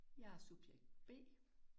Jeg er subjekt B